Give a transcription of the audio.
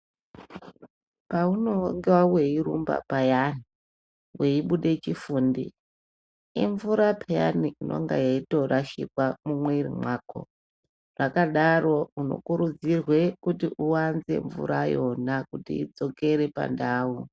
Paunenge weirumba payani weibuda chifundi imvura inenge yeitorashikwa mumwiri mako zvakadaro munokurudzirwe kuti uwanze mvura yona kuti idzokere pandau.